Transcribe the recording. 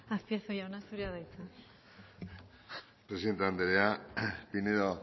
azpiazu jauna zurea da hitza presidente anderea pinedo